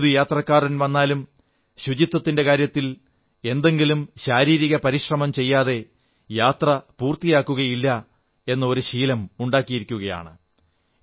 ഏതൊരു ഭക്തൻ വന്നാലും ശുചിത്വത്തിന്റെ കാര്യത്തിൽ എന്തെങ്കിലും ശാരീരിക പരിശ്രമം ചെയ്യാതെ യാത്ര പൂർത്തിയാകുകയില്ല എന്ന ഒരു ശീലം ഉണ്ടാക്കിയിരിക്കയാണ്